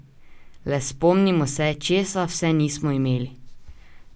Le spomnimo se, česa vse nismo imeli!